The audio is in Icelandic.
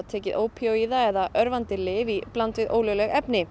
tekið ópíóíða eða örvandi lyf í bland við ólögleg efni